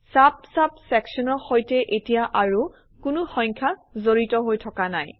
চাব চাব চেকশ্যনৰ সৈতে এতিয়া আৰু কোনো সংখ্যা জড়িত হৈ থকা নাই